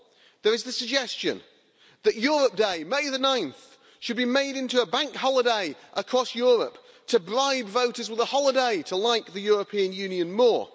there is the suggestion that Europe Day 9 May should be made into a bank holiday across Europe, to bribe voters with a holiday to like the European Union more.